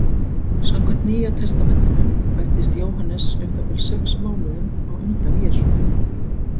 Samkvæmt Nýja testamentinu fæddist Jóhannes um það bil sex mánuðum á undan Jesú.